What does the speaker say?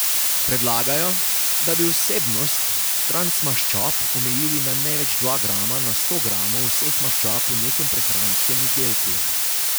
Predlagajo, da bi vsebnost transmaščob omejili na največ dva grama na sto gramov vseh maščob v nekem prehranskem izdelku.